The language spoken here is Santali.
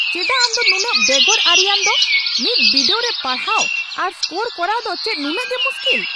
ᱪᱮᱫᱟᱜ ᱟᱢ ᱫᱚ ᱱᱩᱱᱟᱹᱜ ᱵᱮᱜᱚᱨ ᱟᱹᱨᱤᱭᱟᱱ ᱫᱚ ? ᱢᱤᱫ ᱵᱤᱰᱟᱹᱣ ᱨᱮ ᱯᱟᱲᱦᱟᱣ ᱟᱨ ᱥᱠᱳᱨ ᱠᱚᱨᱟᱣ ᱫᱚ ᱪᱮᱫ ᱱᱩᱱᱟᱹᱜ ᱜᱮ ᱢᱩᱥᱠᱤᱞ ?